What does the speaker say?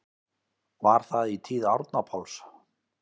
Var það í tíð Árna Páls